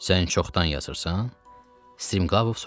Sən çoxdan yazırsan?